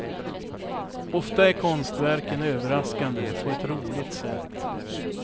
Ofta är konstverken överraskande på ett roligt sätt.